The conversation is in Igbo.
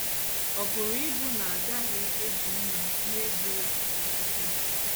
Ọ pụrụ ịbụ na a gaghị eji mmà yie gị egwu ọtụtụ mgbe.